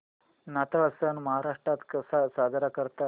नाताळ सण महाराष्ट्रात कसा साजरा करतात